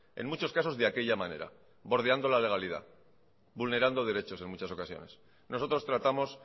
en muchos casos de aquella manera bordeando la legalidad vulnerando derechos en muchas ocasiones nosotros tratamos